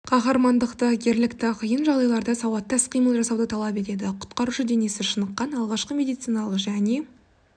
қаһармандықты ерлікті қиын жағдайларда сауатты іс-қимыл жасауды талап етеді құтқарушы денесі шыныққан алғашқы медициналық және